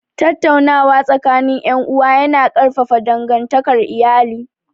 Tattaunawa tsakanin ’yan’uwa ya na ƙarfafa dangantakar iyali